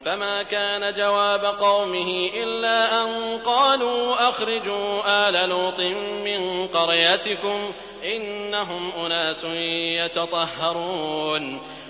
۞ فَمَا كَانَ جَوَابَ قَوْمِهِ إِلَّا أَن قَالُوا أَخْرِجُوا آلَ لُوطٍ مِّن قَرْيَتِكُمْ ۖ إِنَّهُمْ أُنَاسٌ يَتَطَهَّرُونَ